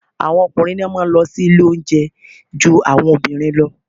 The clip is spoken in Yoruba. Àwọn ọkùnrin ni wọ́n má a nlọ sí ilé oúnjẹ ju àwọn obìnrin lọ